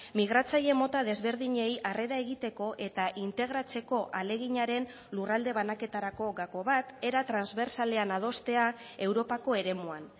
migratzaile mota desberdinei harrera egiteko eta integratzeko ahaleginaren lurralde banaketarako gako bat era transbertsalean adostea europako eremuan